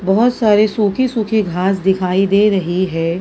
बहुत सारे सूखे-सूखे घास दिखाई दे रही है।